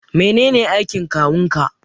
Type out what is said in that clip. Menene aikin kawun ka?